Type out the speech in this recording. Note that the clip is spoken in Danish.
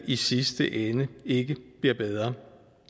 i sidste ende ikke bliver bedre